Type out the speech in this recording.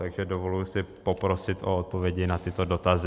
Takže dovoluji si poprosit o odpovědi na tyto dotazy.